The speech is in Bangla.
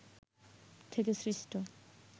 থেকে সৃষ্ট